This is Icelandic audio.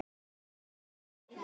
Alls gaus þarna